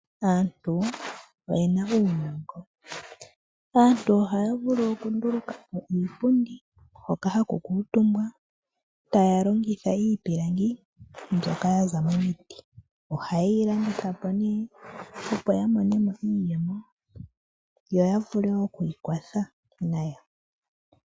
Aantu oyena uunongo, aantu ohaya vulu okundulukapo iipundi hoka haku kutumbwa taya longitha iipilangi mbyoka yaza momiti, oha yeyi landithapo nee opo yamonemo iiyemo, yoya vule okwiikwatha nayo.